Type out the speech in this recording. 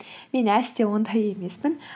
мен әсте ондай емеспін